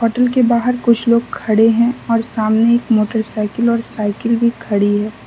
Hotel के बाहर कुछ लोग खडे है और सामने एक मोटरसाइकिल और साइकिल भी खड़ी है।